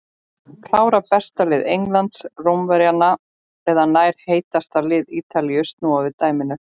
Klárar besta lið Englands Rómverjana eða nær heitasta lið Ítalíu að snúa við dæminu?